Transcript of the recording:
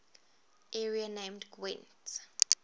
area named gwent